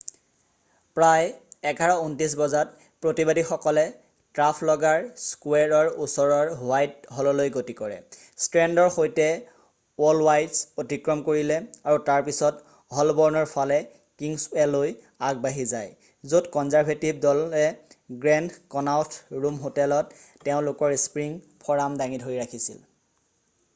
প্ৰায় 11:29 বজাত প্ৰতিবাদীসকলে ট্ৰাফলগাৰ স্কুৱেৰৰ ওচৰৰ হোৱাইট হললৈ গতি কৰে ষ্ট্ৰেণ্ডৰ সৈতে এল্ডৱাইচ অতিক্ৰম কৰিলে আৰু তাৰপিছত হ'লব'ৰ্ণৰ ফালে কিংছৱেলৈ আগবাঢ়ি যায় য'ত কনজাৰভেটিভ দলে গ্ৰেণ্ড ক'নাওথ ৰুম হোটেলত তেওঁলোকৰ স্প্ৰীং ফৰাম দাঙি ধৰি ৰাখিছিল